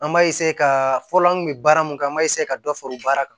An b'a ka fɔlɔ an kun bɛ baara mun kɛ an b'a ka dɔ fara o baara kan